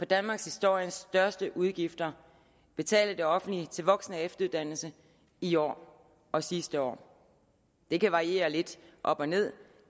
danmarkshistoriens største udgifter betalt af det offentlige til voksen og efteruddannelse i år og sidste år det kan variere lidt op og ned